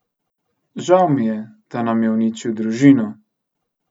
Žal mi je, da nam je uničil družino!